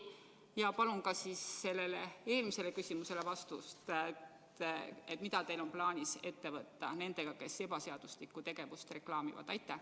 Ja palun ka oma eelmisele küsimusele vastust: mida teil on plaanis ette võtta nendega, kes ebaseaduslikku tegevust reklaamivad?